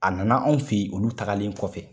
A na na anw fɛ yen olu tagalen kɔfɛ.